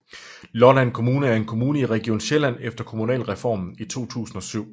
Lolland Kommune er en kommune i Region Sjælland efter Kommunalreformen i 2007